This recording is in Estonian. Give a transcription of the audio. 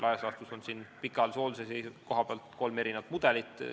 Laias laastus on pikaajalise hoolduse kohta kolm mudelit.